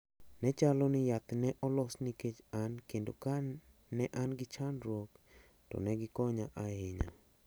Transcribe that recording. Ne chalo ni yath ne olos nikech an kendo ka ne an gi chandruok to ne gikonya ahinya.